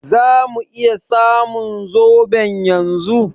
Zamu iya samun zoɓon yanzu?